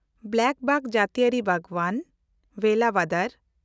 ᱵᱞᱟᱠᱵᱟᱠ ᱡᱟᱹᱛᱤᱭᱟᱹᱨᱤ ᱵᱟᱜᱽᱣᱟᱱ, ᱵᱷᱮᱞᱟᱵᱟᱫᱟᱨ